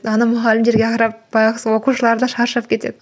ана мұғалімдерге қарап байғұс оқушылар да шаршап кетеді